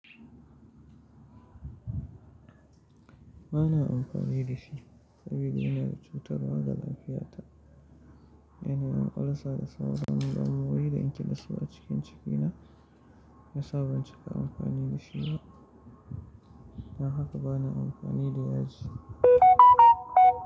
Ba na amfani da shi saboda yana cutarwa ga lafiyata. Yana yin ulcer da sauran don wuri da in kiɗa su a cikin jikina, ya sa ban cika amfani da shi ba. Don haka ba na amfani da yaji.